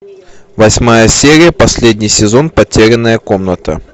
восьмая серия последний сезон потерянная комната